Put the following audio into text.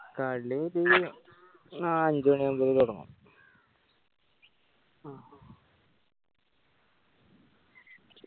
കളി ഒരു നാ അഞ്ച് മാണി ആവുമ്പഴേ തൊടങ്ങു